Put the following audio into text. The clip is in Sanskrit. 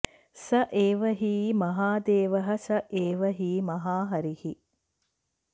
स एव हि महादेवः स एव हि महाहरिः